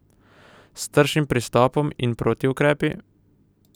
S tršim pristopom in protiukrepi?